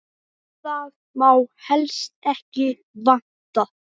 Það má helst ekki vanta.